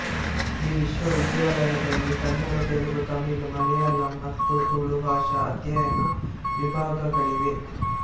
ಈ ವಿಶ್ವವಿದ್ಯಾಲಯದಲ್ಲಿ ಕನ್ನಡ ತೆಲುಗು ತಮಿಳು ಮಲಯಾಳಂ ಮತ್ತು ತುಳು ಭಾಷಾ ಅಧ್ಯಯನ ವಿಭಾಗಗಳಿವೆ